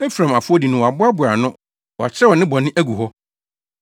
Efraim afɔdi no wɔaboaboa ano wɔakyerɛw ne bɔne agu hɔ.